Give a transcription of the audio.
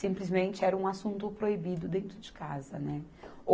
Simplesmente era um assunto proibido dentro de casa, né.